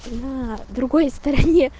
на другой стороне